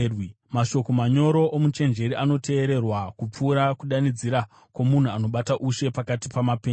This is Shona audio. Mashoko manyoro omuchenjeri anoteererwa kupfuura kudanidzira kwomunhu anobata ushe pakati pamapenzi.